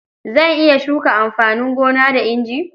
Zan iya shuka amfanin gona da inji.